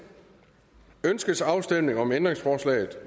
ønskes afstemning om ændringsforslag